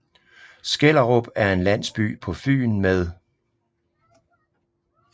Skellerup er en landsby på Fyn med